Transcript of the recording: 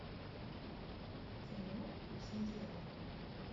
кино песнь дьявола